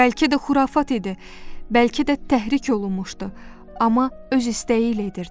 Bəlkə də xurafat idi, bəlkə də təhrik olunmuşdu, amma öz istəyi ilə edirdi.